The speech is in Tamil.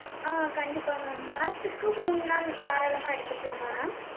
ஆஹ் கண்டிப்பா mam வாரத்துக்கு மூணு நாள் தாராளமா எடுத்துக்கலாமா mam